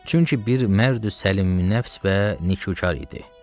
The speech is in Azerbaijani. Çünki bir mərdi səlim nəfs və nikükar idi.